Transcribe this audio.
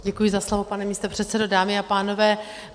Děkuji za slovo, pane místopředsedo, dámy a pánové.